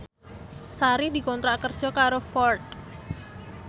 Sari dikontrak kerja karo Ford